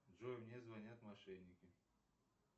джой мне звонят мошенники